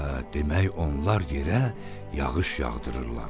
Hə, demək onlar yerə yağış yağdırırlar.